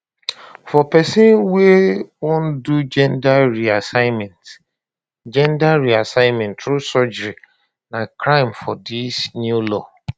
for pesin wey wan do gender reassignment gender reassignment through surgery na crime for dis new law